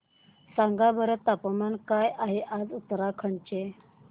सांगा बरं तापमान काय आहे आज उत्तराखंड चे